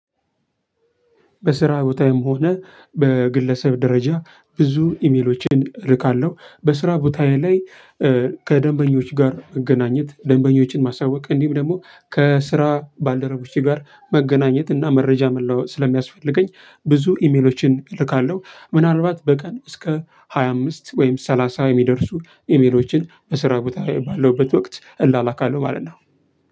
በስራ ቦታየም ሆነ በግለሰብ ደረጃ ብዙ ኢሜሎችን እልካለሁ በስራ ቦታዬ ላይ ከደንበኞች ጋር መገናኘት ደንበኞችን ማሳወቅ እንዲሁም ደግሞ ከስራ ባልደረቦቼ ጋር መገናኘት እና መረጃ መለወጥ ስለሚያስፈልገኝ ብዙ ኢሜሎችን እልካለሁ። ምናልባት በቀን እስከ ሃያ አምስት ወይም ሰላሳ የሚደርሱ ኢሜሎችን በስራ ቦታ ባለሁበት ወቅት እላላካለሁ ማለት ነው።